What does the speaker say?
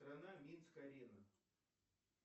страна минск арена